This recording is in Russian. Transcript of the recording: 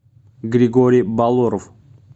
григорий балоров